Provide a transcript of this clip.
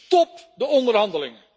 Stop de onderhandelingen.